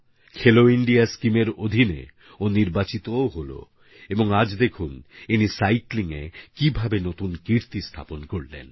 খেলো ইন্ডিয়াস্কিমএর অধীনে ও নির্বাচিতও হয়ে গেল এবং আজ দেখুন ইনি সাইক্লিংএকীভাবে নতুন কীর্তি স্থাপন করল